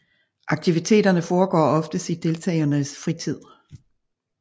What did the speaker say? Aktiviteterne foregår oftest i deltagernes fritid